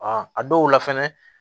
a dɔw la fɛnɛ